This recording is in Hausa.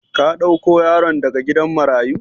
Ka dauko yaron daga gidan marayu?